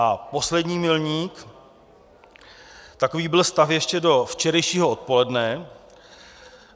A poslední milník - takový byl stav ještě do včerejšího odpoledne.